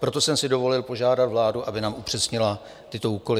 Proto jsem si dovolil požádat vládu, aby nám upřesnila tyto úkoly.